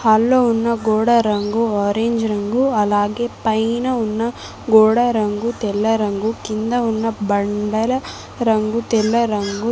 Hall లో ఉన్న గోడ రంగు ఆరెంజ్ రంగు అలాగే పైన ఉన్న గోడ రంగు తెల్ల రంగు కింద ఉన్న బండల రంగు తెల్ల రంగు.